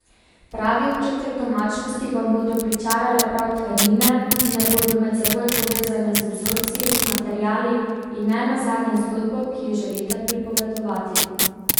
Pravi občutek domačnosti vam bodo pričarale prav tkanine, ki naj bodo med seboj povezane z vzorci, materiali in ne nazadnje zgodbo, ki jo želite pripovedovati.